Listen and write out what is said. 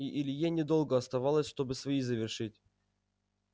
и илье недолго оставалось чтобы свои завершить